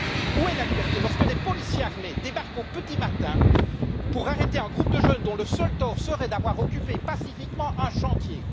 Où est la liberté, lorsque des policiers armés débarquent au petit matin pour arrêter un groupe de jeunes dont le seul tort serait d'avoir occupé pacifiquement un chantier?